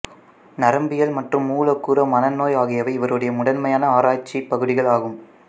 நரம்பியல் மற்றும் மூலக்கூறு மனநோய் ஆகியவை இவருடைய முதன்மையான ஆராய்ச்சிப் பகுதிகள் ஆகும்